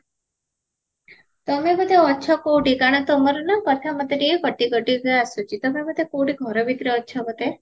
ତମେ ବୋଧେ ଅଛ କଉଠି କାରଣ ତମର ନା କଥା ମତେ ଟିକେ କଟି କଟି କା ଆସୁଚି ତମେ ବୋଧେ କଉଠି ଘର ଭିତରେ ଅଛ ବୋଧେ